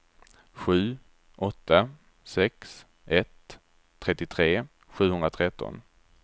sju åtta sex ett trettiotre sjuhundratretton